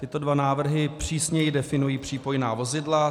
Tyto dva návrhy přísněji definují přípojná vozidla.